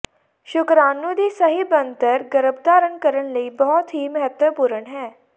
ਸ਼ੁਕਰਾਣੂ ਦੀ ਸਹੀ ਬਣਤਰ ਗਰੱਭਧਾਰਣ ਕਰਨ ਲਈ ਬਹੁਤ ਹੀ ਮਹੱਤਵਪੂਰਨ ਹੈ